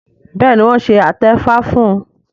béèni wón ṣe atefa fún